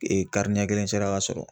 ɲɛ kelen sera ka sɔrɔ